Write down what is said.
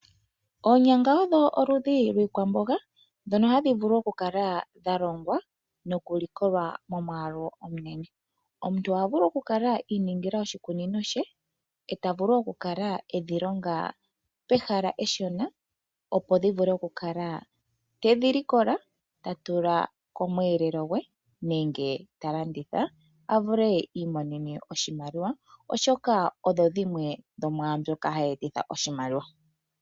Oonyanga odho oludhi lwiikwamboga dhono hadhi vulu oku kala dhalongwa noku likolwa momwaalu omunene. Omuntu oha vulu oku kala iiningila oshikunino she, eta vulu oku kala edhi longa pehala eshona opo dhi vule oka kala tedhi likola. Ta tula komweelelo gwe nenge ta landitha avule iimonene oshimaliwa oshoka odho dhimwe dho mwaambyoka hayi etitha oshimaliwa.